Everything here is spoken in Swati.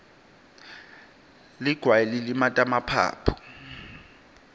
ligwayi lilimata emaphaphu